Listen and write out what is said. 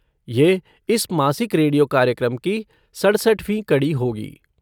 यह इस मासिक रेडियो कार्यक्रम की सड़सठवीं कड़ी होगी।